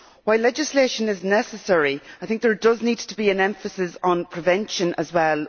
While legislation is necessary, I think there does need to be an emphasis on prevention as well.